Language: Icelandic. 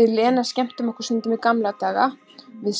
Við Lena skemmtum okkur stundum í gamla daga við